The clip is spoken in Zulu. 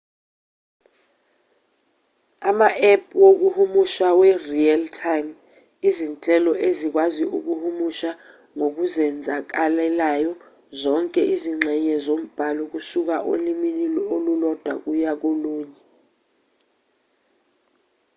ama-app wokuhumusha we-real-time izinhlelo ezikwazi ukuhumusha ngokuzenzakalelayo zonke izingxenye zombhalo kusuka olimini olulodwa kuya kolunye